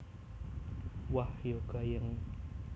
Wah ya gayeng